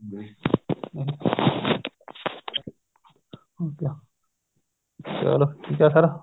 ਚਲੋ ਠੀਕ ਆ sir